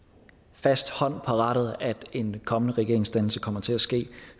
fast hånd på rattet at en kommende regeringsdannelse kommer til at ske